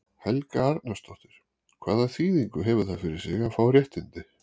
Helga Arnardóttir: Hvaða þýðingu hefur það fyrir þig að fá réttindi?